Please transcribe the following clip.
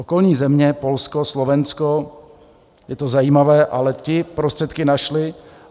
Okolní země, Polsko, Slovensko, je to zajímavé, ale ty prostředky našly.